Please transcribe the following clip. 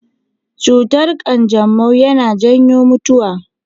Cutar kanjamau yana janyo mutuwa.